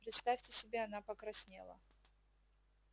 представьте себе она покраснела